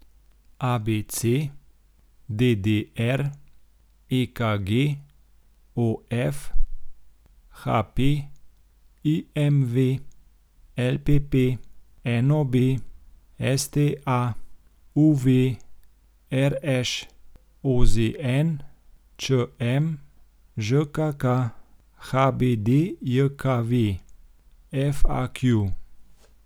ABC, DDR, EKG, OF, HP, IMV, LPP, NOB, STA, UV, RŠ, OZN, ČM, ŽKK, HBDJKV, FAQ.